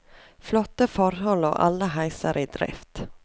Flotte forhold og alle heiser i drift.